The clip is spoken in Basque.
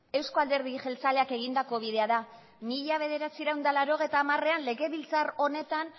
euzko alderdi jeltzaleak egindako bidea da mila bederatziehun eta laurogeita hamarean legebiltzar honetan